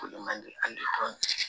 O le man di a dɔn